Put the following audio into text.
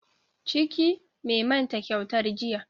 Ciki, mai manta kyautar jiya.